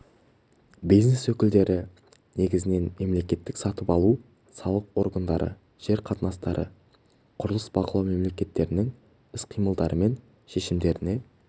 бизнес өкілдері негізінен мемлекеттік сатып алу салық органдары жер қатынастары құрылыс бақылау мекемелерінің іс-қимылдары мен шешімдеріне